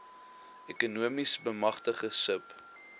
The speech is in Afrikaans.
ekonomiese bemagtiging sub